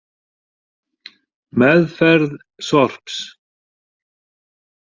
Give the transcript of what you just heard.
Meðferð sorps